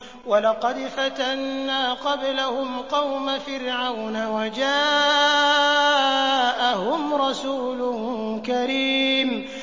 ۞ وَلَقَدْ فَتَنَّا قَبْلَهُمْ قَوْمَ فِرْعَوْنَ وَجَاءَهُمْ رَسُولٌ كَرِيمٌ